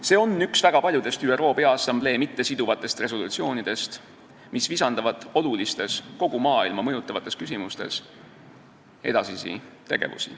See on üks väga paljudest ÜRO Peaassamblee mittesiduvatest resolutsioonidest, mis visandavad olulisi tegevusi olulistes, kogu maailma mõjutavates küsimustes.